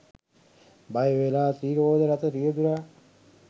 බයවෙලා ති්‍රරෝද රථ රියදුරා